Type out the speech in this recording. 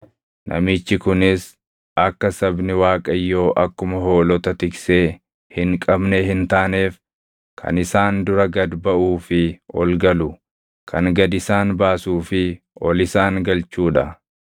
namichi kunis akka sabni Waaqayyoo akkuma hoolota tiksee hin qabnee hin taaneef kan isaan dura gad baʼuu fi ol galu, kan gad isaan baasuu fi ol isaan galchuu dha.”